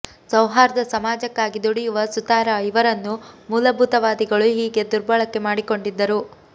ಸೌಹಾರ್ದ ಸಮಾಜಕ್ಕಾಗಿ ದುಡಿಯುವ ಸುತಾರ ಇವರನ್ನು ಮೂಲಭೂತವಾದಿಗಳು ಹೀಗೆ ದುರ್ಬಳಕೆ ಮಾಡಿಕೊಂಡಿದ್ದರು